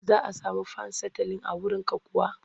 Za a sami fan sitalin a wurinka kuwa?